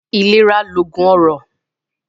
Ilera loogun ọrọ